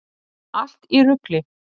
Allt í rugli!